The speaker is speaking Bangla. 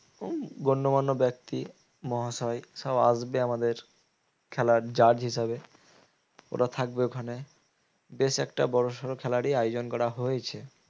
ব্যক্তি মহাশয় সব আসবে আমাদের খেলার judge হিসেবে ওরা থাকবে ওখানে বেশ একটা বড়সড়ো খেলারই আয়োজন করা হয়েছে